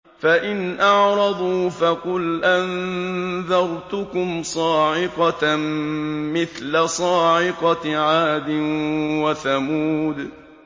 فَإِنْ أَعْرَضُوا فَقُلْ أَنذَرْتُكُمْ صَاعِقَةً مِّثْلَ صَاعِقَةِ عَادٍ وَثَمُودَ